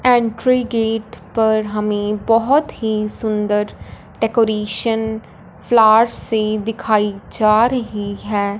Entry gate पर हमें बहोत ही सुंदर डेकोरेशन फ्लार्स से दिखाई जा रही है।